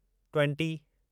twenty